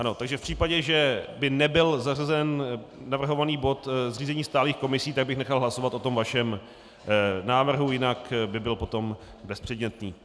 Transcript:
Ano, takže v případě, že by nebyl zařazen navrhovaný bod zřízení stálých komisí, tak bych nechal hlasovat o tom vašem návrhu, jinak by byl potom bezpředmětný.